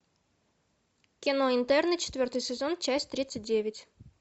кино интерны четвертый сезон часть тридцать девять